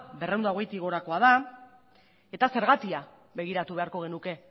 berrehun eta hogeitik gorakoa da eta zergatia begiratu beharko genuke